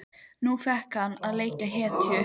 Nú fékk hann að leika hetju.